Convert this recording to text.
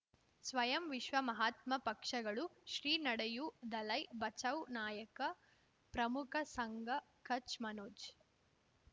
ಸ್ವಯಂ ವಿಶ್ವ ಮಹಾತ್ಮ ಪಕ್ಷಗಳು ಶ್ರೀ ನಡೆಯೂ ದಲೈ ಬಚೌ ನಾಯಕ ಪ್ರಮುಖ ಸಂಘ ಕಚ್ ಮನೋಜ್